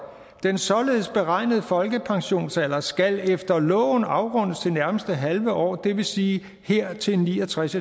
den således beregnede folkepensionsalder skal efter loven afrundes til nærmeste halve år det vil sige her til ni og tres